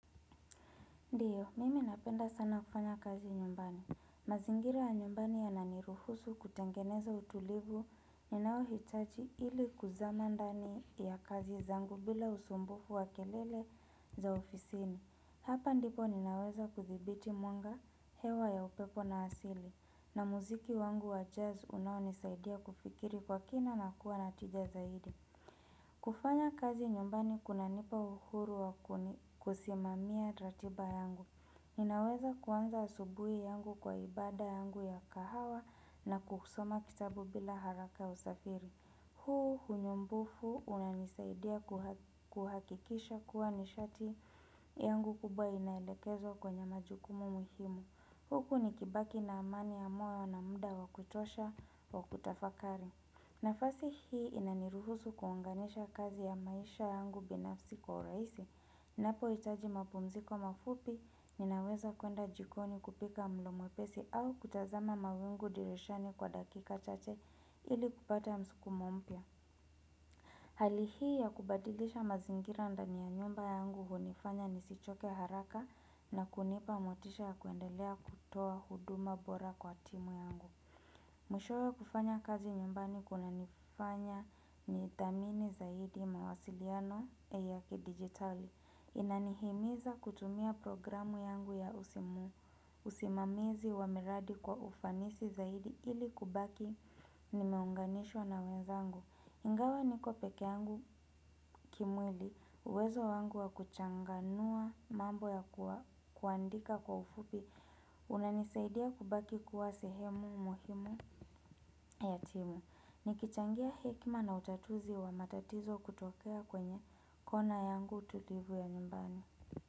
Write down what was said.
Ndiyo, mimi napenda sana kufanya kazi nyumbani. Mazingira ya nyumbani yananiruhusu kutengeneza utulivu ninao hitaji ili kuzama ndani ya kazi zangu bila usumbufu wa kelele za ofisini. Hapa ndipo ninaweza kuthibiti mwanga hewa ya upepo na asili. Na muziki wangu wa jazz unao nisaidia kufikiri kwa kina na kuwa na tija zaidi. Kufanya kazi nyumbani kunanipa uhuru wakuni kusimamia ratiba yangu. Ninaweza kuanza asubuhi yangu kwa ibada yangu ya kahawa na kusoma kitabu bila haraka usafiri. Huu unyumbufu unanisaidia kuhakikisha kuwa nishati yangu kubwa inaelekezwa kwenye majukumu muhimu. Huku nikibaki na amani ya moyo na muda wa kutosha wakutafakari. Nafasi hii inaniruhusu kuuanganisha kazi ya maisha yangu binafsi kwa urahisi. Ninapohitaji mapumuziko mafupi, ninaweza kwenda jikoni kupika mlo mwepesi au kutazama mawingu dirishani kwa dakika chache ili kupata msukumo mpya. Hali hii ya kubadilisha mazingira ndani ya nyumba yangu hunifanya nisichoke haraka na kunipa motisha ya kuendelea kutoa huduma bora kwa timu yangu. Mwishowe kufanya kazi nyumbani kunanifanya ni dhamini zaidi mawasiliano ya ki-digitali. Inanihimiza kutumia programu yangu ya usimu, usimamizi wa miradi kwa ufanisi zaidi ili kubaki nimeunganishwa na wenzangu. Ingawa niko peke yangu kimwili, uwezo wangu wa kuchanganua mambo ya kuandika kwa ufupi unanisaidia kubaki kuwa sehemu muhimu ya timu Nikichangia hekima na utatuzi wa matatizo kutokea kwenye kona yangu tutivu ya nyumbani.